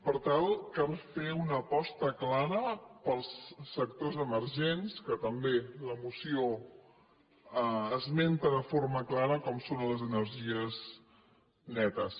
per tant cal fer una aposta clara pels sectors emergents que també la moció esmenta de forma clara com són les energies netes